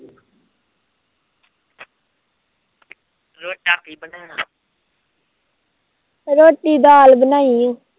ਰੋਟੀ ਦਾਲ ਬਣਾਈ